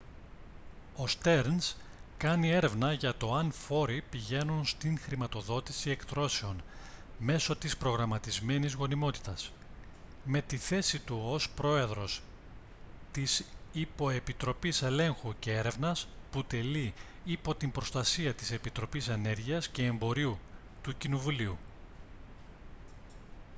ο στερνς κάνει έρευνα για το αν φόροι πηγαίνουν στη χρηματοδότηση εκτρώσεων μέσω της προγραμματισμένης γονιμότητας με τη θέση του ως πρόεδρος της υποεπιτροπής ελέγχου και έρευνας που τελεί υπό την προστασία της επιτροπής ενέργειας και εμπορίου του κοινοβουλίου